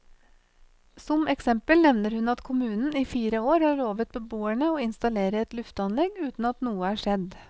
Som eksempel nevner hun at kommunen i fire år har lovet beboerne å installere et lufteanlegg uten at noe er skjedd.